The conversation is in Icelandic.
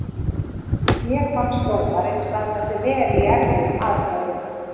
Mér fannst dómarinn standa sig vel í erfiðum aðstæðum.